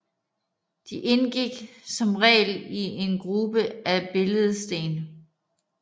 De indgik som regel i en gruppe af billedsten